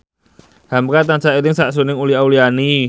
hamka tansah eling sakjroning Uli Auliani